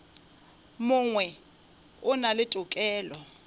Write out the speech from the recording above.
mongwe o na le tokelo